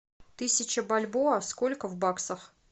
тысяча бальбоа сколько в баксах